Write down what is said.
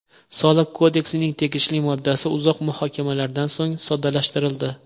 Soliq kodeksining tegishli moddasi uzoq muhokamalaridan so‘ng soddalashtirildi.